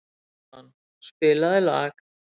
Gaston, spilaðu lag.